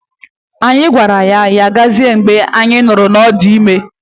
Anyị gwara ya, Ya gazie mgbe anyị nụrụ na ọ dị ime